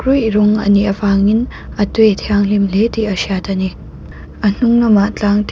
rawng anih avangin a tui a thianghlim hle tih a hriat ani a hnung lamah tlang te.